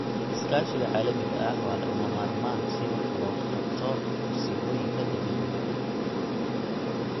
Iskaashiga caalamiga ah waa lagama maarmaan si wax looga qabto masiibooyinka dabiiciga ah.